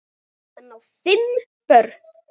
Hann á fimm börn.